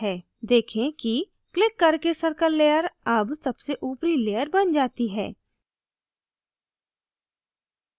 देखें कि क्लिक करके circle layer अब सबसे ऊपरी layer बन जाती है